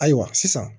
Ayiwa sisan